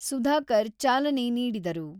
ಸುಧಾಕರ್ ಚಾಲನೆ ನೀಡಿದರು.